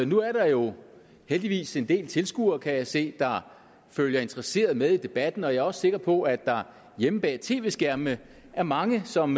nu er der jo heldigvis en del tilskuere kan jeg se der følger interesseret med i debatten og jeg er også sikker på at der hjemme bag tv skærmene er mange som